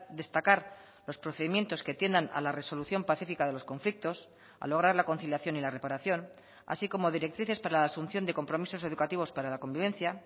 destacar los procedimientos que tiendan a la resolución pacífica de los conflictos a lograr la conciliación y la reparación así como directrices para la asunción de compromisos educativos para la convivencia